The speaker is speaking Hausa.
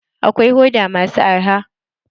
Akwai hoda masu arha.